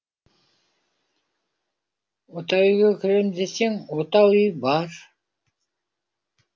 отау үйге кірем десең отау үй бар